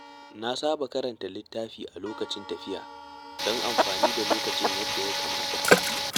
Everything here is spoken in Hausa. Na saba karanta littafi a lokacin tafiya don amfani da lokacin yadda ya kamata.